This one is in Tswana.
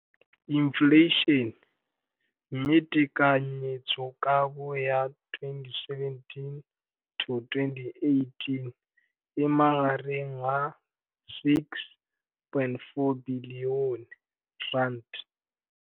Infleišene, mme tekanyetsokabo ya 2017- 18 e magareng ga R6.4 bilione.